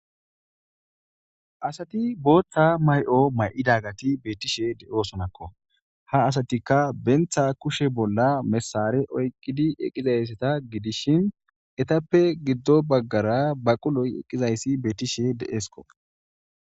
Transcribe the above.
Asati booththa mayo mayidageti beettishe de'oosonakko .Ha asatikka banta kushe bolla mesare oyqqidi eqiza issata gidishin etappe giddo baggara baquloy eqqiza issi beettishe de'eesko.